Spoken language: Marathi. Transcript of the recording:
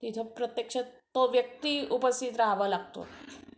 की प्रत्यक्षात तो व्यक्ती उपस्थित राहावा लागतो